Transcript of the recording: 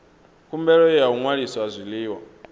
khumbelo ya u ṅwalisa zwiḽiwa